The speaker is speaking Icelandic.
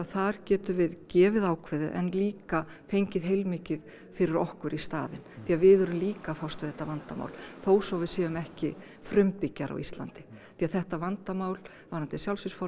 þar getum við gefið ákveðið en líka fengið heilmikið fyrir okkur í staðinn því við erum líka að fást við þetta vandamál þó svo að við séum ekki frumbyggjar á Íslandi því þetta vandamál varðandi